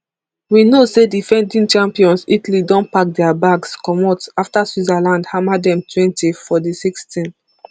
we know say defending champions italy don pack dia bags comot afta switzerland hammer dem twenty for di rsixteen